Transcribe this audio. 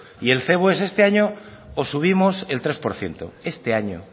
y el cebo es este año os subimos el tres por ciento este año